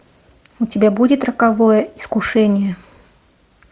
у тебя будет роковое искушение